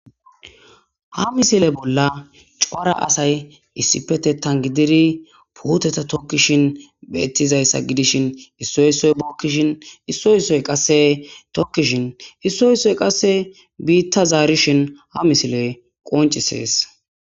Ha misile bolla cora asay issipetetan gididi puuteta tokkishin beetizayassa gidishin issoy issoy bookishin issoy issoy qase tokkishin issoy issoy qase biita zaarishin ha misiley qonccisees.